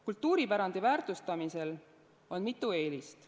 Kultuuripärandi väärtustamisel on mitu eelist.